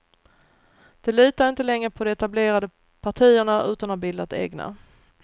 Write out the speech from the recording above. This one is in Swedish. De litar inte längre på de etablerade partierna utan har bildat egna.